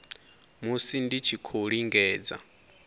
musi dzi tshi khou lingedza